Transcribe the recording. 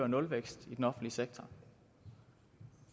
nulvækst i den offentlige sektor